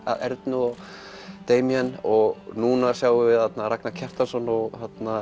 Ernu og og núna sjáum við þarna Ragnar Kjartansson og